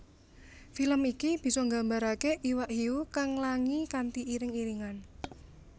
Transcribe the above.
Film iki bisa nggambarake iwak hiu kang nglangi kanthi iring iringan